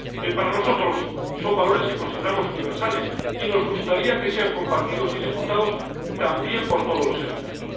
Para nosotros, son valores que consideramos universales y nos gustaría que sean compartidos y disfrutados también por todos los egipcios.